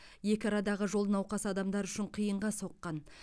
екі арадағы жол науқас адамдар үшін қиынға соққан